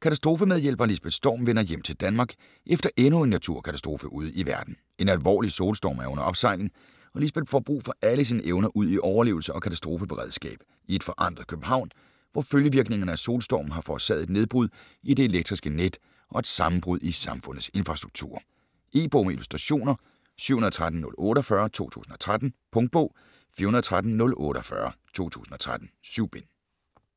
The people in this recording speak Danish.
Katastrofemedhjælper Lisbeth Storm vender hjem til Danmark efter endnu en naturkatastrofe ude i verden. En alvorlig solstorm er under opsejling og Lisbeth får brug for alle sine evner udi overlevelse og katastrofeberedskab i et forandret København, hvor følgevirkningerne af solstormen har forårsaget et nedbrud i det elektriske net og et sammenbrud i samfundets infrastrukturer. E-bog med illustrationer 713048 2013. Punktbog 413048 2013. 7 bind.